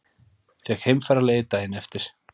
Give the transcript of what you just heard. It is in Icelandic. Fékk heimfararleyfi daginn eftir.